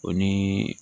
O ni